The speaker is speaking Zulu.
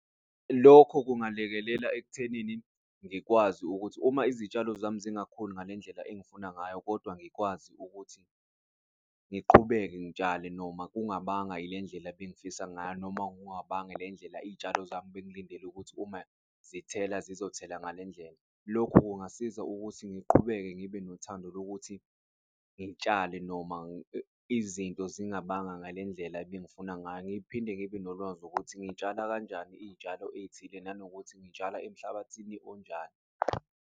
Lokho kungalekelela ekuthenini ngikwazi ukuthi uma izitshalo zami zingakhuli ngalendlela engifuna ngayo kodwa ngikwazi ukuthi ngiqhubeke ngitshale noma kungabanga ilendlela ebengifisa ngayo, noma kungabanga le ndlela iy'tshalo zami bengilindele ukuthi uma zithela zizothola ngale ndlela. Lokhu kungasiza ukuthi ngiqhubeke ngibe nothando lokuthi ngitshale noma izinto zingabanga ngale ndlela ebengifuna ngayo, ngiphinde ngibe nolwazi ukuthi ngitshala kanjani iy'tshalo ey'thile nanokuthi, ngitshala emhlabathini onjani.